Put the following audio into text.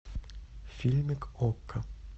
фильмик окко